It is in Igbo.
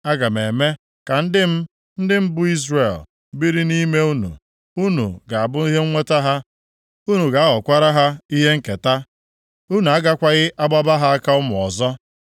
Aga m eme ka ndị m, ndị m bụ Izrel, biri nʼime unu. Unu ga-abụ ihe nweta ha, unu ga-aghọkwara ha ihe nketa. Unu agakwaghị agbaba ha aka ụmụ ọzọ.